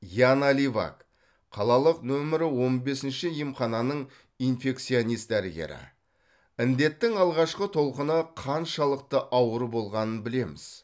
яна ливак қалалық нөмір он бесінші емхананың инфекционист дәрігері індеттің алғашқы толқыны қаншалықты ауыр болғанын білеміз